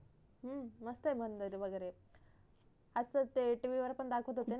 हम्म मस्त आहे मंदिर वगरे अस ते TV वर पण दाखवत होते ना